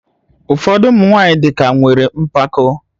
Ụfọdụ ụmụ nwanyị dị ka nwere mpako